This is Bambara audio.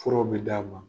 Furaw bɛ d'a ma